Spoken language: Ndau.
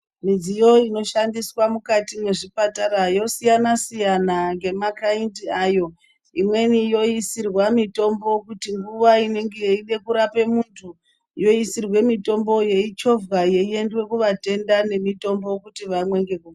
Midziyo inoshandiswa mukati mwezvipatara yosiyana siyana ngemakaindi ayo, imweni yoisirwa mitombo kuti nguva inenge yeide kurape muntu yoisirwe mitombo yeichovhwa yeiende kuvatenda nemitombo kuti vamwe.